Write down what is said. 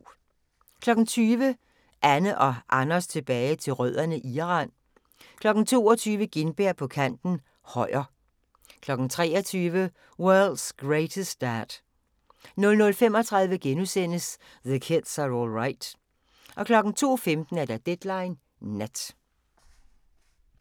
20:00: Anne & Anders tilbage til rødderne: Iran 22:00: Gintberg på kanten - Højer 23:00: World's Greatest Dad 00:35: The Kids Are All Right * 02:15: Deadline Nat